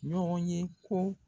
Ɲɔgɔn ye ko